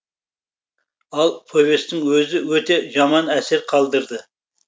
ал повестің өзі өте жаман әсер қалдырды